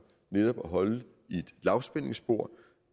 netop at holde et lavspændingsspor